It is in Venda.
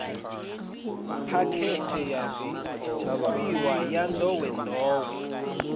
phakhethe ya zwifhiwa ya nḓowenḓowe